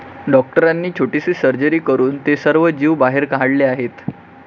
डॉक्टरांनी छोटीशी सर्जरी करून ते सर्व जीव बाहेर काढले आहेत.